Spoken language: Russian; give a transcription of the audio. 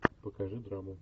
покажи драму